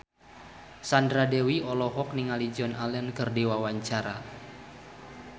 Sandra Dewi olohok ningali Joan Allen keur diwawancara